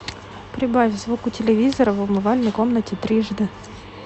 прибавь звук у телевизора в умывальной комнате трижды